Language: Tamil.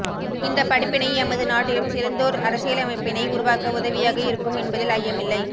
இந்த படிப்பினை எமது நாட்டிலும் சிறந்ததோர் அரசியலமைப்பினை உருவாக்க உதவியாக இருக்கும் என்பதில் ஐயமில்லை